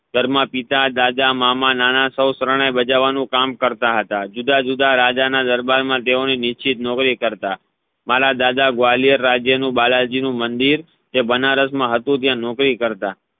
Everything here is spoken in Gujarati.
ઘરમા પિતા દાદા મામા નાના સૌ ત્રણેવ શરણાઈ ભજવવાનુ કામ કરતા હતા જુદા જુદા રાજાના દરબાર મા તેઓની નિશ્ચિત નોકરી કરતા મારા દાદા ગ્વાલિયર રાજ્ય નુ બાલાજી નુ મંદિર એ બનારસ મા હતુ ત્યા નોકરી કરતા